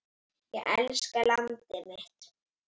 Ég elska landið mitt.